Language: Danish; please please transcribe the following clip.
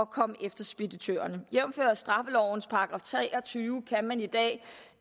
komme efter speditørerne jævnfør straffelovens § tre og tyve kan man i dag